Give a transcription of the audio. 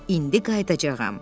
İndi qayıdacağam.